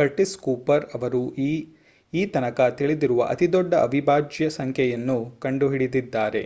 Curtis Cooper ಅವರು ಈತನಕ ತಿಳಿದಿರುವ ಅತಿದೊಡ್ಡ ಅವಿಭಾಜ್ಯ ಸಂಖ್ಯೆಯನ್ನು ಕಂಡುಹಿಡಿದಿದ್ದಾರೆ